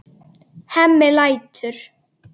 Hemmi lætur.